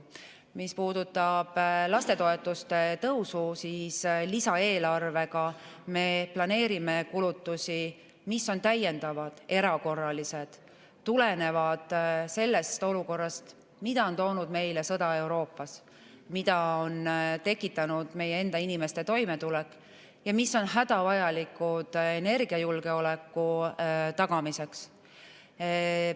Mis puudutab lastetoetuste tõusu, siis lisaeelarvega me planeerime kulutusi, mis on täiendavad, erakorralised, tulenevad sellest olukorrast, mida on toonud meile sõda Euroopas, mida on tekitanud meie enda inimeste toimetulek ja mis on hädavajalikud energiajulgeoleku tagamiseks.